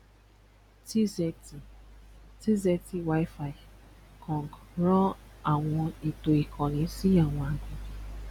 t zetty t zetty wifi ran àwọn ètò sí àwọn àgbẹ̀.